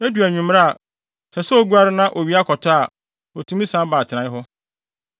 Edu anwummere a, ɛsɛ sɛ oguare na owia kɔtɔ a, otumi san ba atenae hɔ.